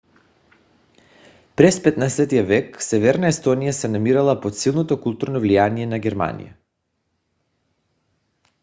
през 15-ти век северна естония се намирала под силното културно влияние на германия